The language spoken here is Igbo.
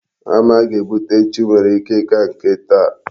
Hama a ga-ebute echi nwere ike ịka nke taa.